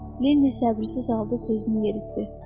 Lenni səbirsiz halda sözünü yeritdi.